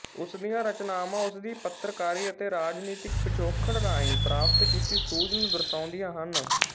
ਉਸ ਦੀਆਂ ਰਚਨਾਵਾਂ ਉਸਦੀ ਪੱਤਰਕਾਰੀ ਅਤੇ ਰਾਜਨੀਤਿਕ ਪਿਛੋਕੜ ਰਾਹੀਂ ਪ੍ਰਾਪਤ ਕੀਤੀ ਸੂਝ ਨੂੰ ਦਰਸਾਉਂਦੀਆਂ ਹਨ